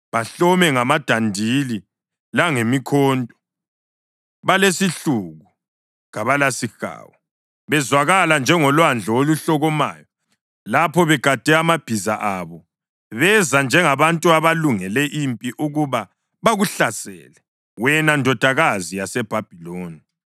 Bahlome ngamadandili langemikhonto; balesihluku, kabalasihawu. Bezwakala njengolwandle oluhlokomayo lapho begade amabhiza abo; beza njengabantu abalungele impi ukuba bakuhlasele, wena Ndodakazi yaseBhabhiloni.